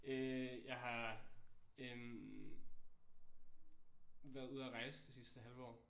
Øh jeg har øh været ude og rejse det sidste halve år